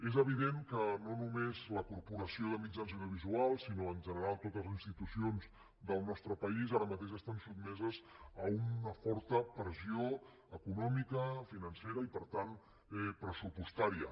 és evident que no només la corporació de mitjans audiovisuals sinó en general totes les institucions del nostre país ara mateix estan sotmeses a una forta pressió econòmica financera i per tant pressupostària